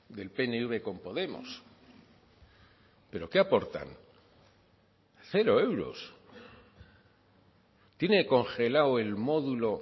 del pnv con podemos pero qué aportan cero euros tiene congelado el módulo